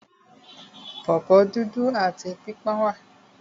Pọ̀pọ́ dúdú áti pípọ́n wà.